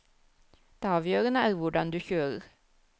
Det avgjørende er hvordan du kjører.